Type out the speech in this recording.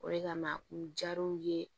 O de kama u jara u ye